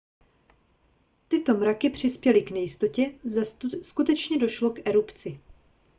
tyto mraky přispěly k nejistotě zda skutečně došlo k erupci